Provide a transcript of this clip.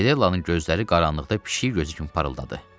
Fedellanın gözləri qaranlıqda pişik gözü kimi parıldadı.